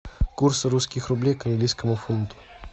курс русских рублей к английскому фунту